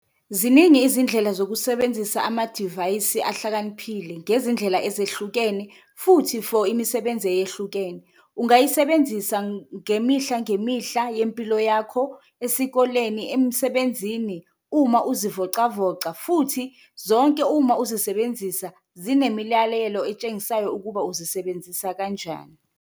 Ziningi izindlela zokusebenzisa amadivayisi ahlakaniphile ngezindlela ezehlukene futhi for imisebenzi eyehlukene, ungayisebenzisa ngemihla ngemihla yempilo yakho, esikoleni, emsebenzini, uma uzivocavoca. Futhi zonke uma uzisebenzisa zinemilalelo etshengisayo ukuba uzisebenzisa kanjani.